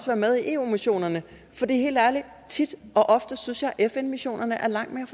være med i eu missionerne helt ærligt tit og ofte synes jeg at fn missionerne er langt mere